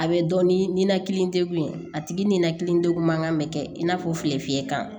A bɛ dɔn ni ninakili degun ye a tigi ninakili degun man kan bɛ kɛ i n'a fɔ filefiye kan